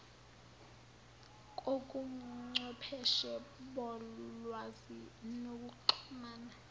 kobuchwepheshe bolwazi nokuxhumana